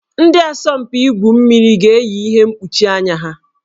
Ndị asọmpi igwu mmiri ga-eyi ihe mkpuchi anya ha